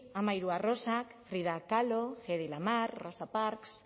hamairu arrosak frida kahlo hedy lamarr rosa parks